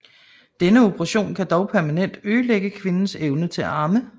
Denne operation kan dog permanent ødelægge kvindens evne til at amme